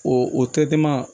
O o